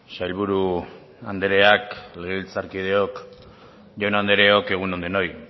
sailburu andreak legebiltzarkideok jaun andreok egun on denoi